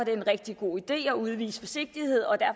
er en rigtig god idé at udvise forsigtighed og